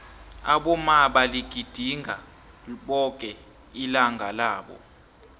abomma baligidinga boke ilanga labo